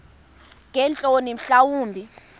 ngeentloni mhla wumbi